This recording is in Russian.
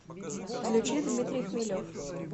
включи дмитрий хмелев